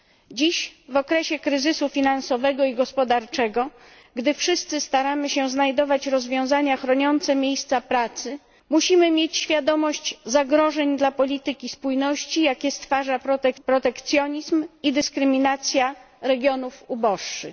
Dziś w okresie kryzysu finansowego i gospodarczego, gdy wszyscy staramy się znajdować rozwiązania chroniące miejsca pracy, musimy mieć świadomość zagrożeń dla polityki spójności, jakie stwarza protekcjonizm i dyskryminacja regionów uboższych.